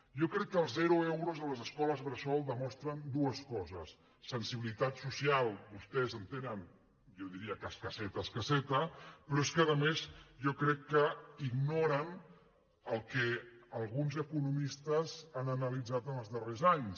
jo crec que els zero euros a les escoles bressol demostren dues coses la sensibi·litat social vostès la tenen jo diria que escasseta es·casseta però és que a més jo crec que ignoren el que alguns economistes han analitzat en els darrers anys